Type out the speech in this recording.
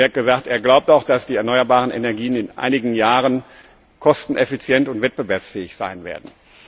Er hat gesagt, er glaubt auch, dass die erneuerbaren Energien in einigen Jahren kosteneffizient und wettbewerbsfähig sein werden.